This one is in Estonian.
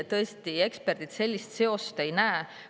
Ei, tõesti, eksperdid sellist seost ei näe.